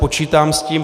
Počítám s tím.